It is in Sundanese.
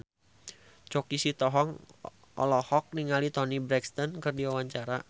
Choky Sitohang olohok ningali Toni Brexton keur diwawancara